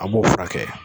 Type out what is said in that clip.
A b'o furakɛ